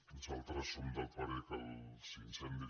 nosaltres som del parer que els incendis